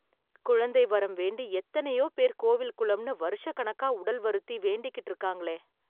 குழந்தை வரம் வேண்டி, எத்தனயோ பேர் கோவில் குளம்னு வருஷக் கணக்கா உடல் வருத்தி, வேண்டிக்கிட்டு இருக்கறாங்களே...